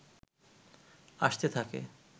আসতে থাকে